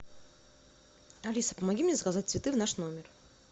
алиса помоги мне заказать цветы в наш номер